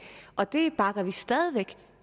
og det bakker vi stadig væk